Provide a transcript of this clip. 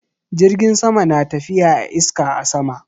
Jirgin sama na tafiya a iska a sama.